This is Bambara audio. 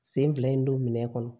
Sen fila in don minɛn kɔnɔ